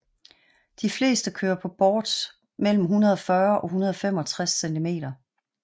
De fleste kører på boards mellem 140 og 165cm